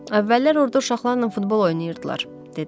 Əvvəllər orada uşaqlarla futbol oynayırdılar, dedim.